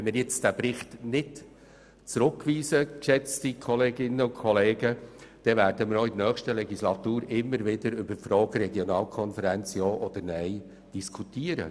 Wenn wir diesen Bericht nun nicht zurückweisen, dann werden wir auch in der nächsten Legislaturperiode wieder über die Frage der Regionalkonferenzen diskutieren.